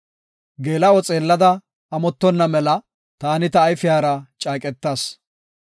“Geela7o xeellada amottonna mela, taani ta ayfiyara caaqetas.